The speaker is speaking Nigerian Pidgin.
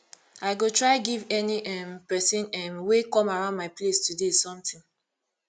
i go try give any um pesin um wey come around my place today something